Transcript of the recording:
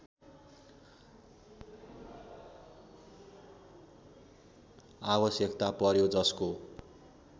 आवश्यकता पर्‍यो जसको